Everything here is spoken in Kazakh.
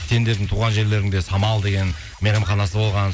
сендердің туған жерлеріңде самал деген мейрамханасы болған